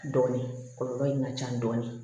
Dɔɔnin kɔlɔlɔ in ka ca dɔɔnin